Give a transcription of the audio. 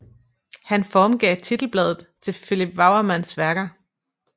Han formgav titelbladet til Philips Wouwermans værker